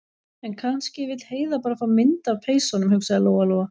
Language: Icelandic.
En kannski vill Heiða bara fá mynd af peysunum, hugsaði Lóa- Lóa.